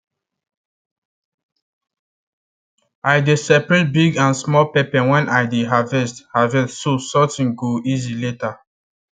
i dey separate big and small pepper when i dey harvest harvest so sorting go easy later